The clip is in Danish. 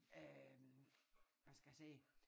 Øh hvad skal jeg sige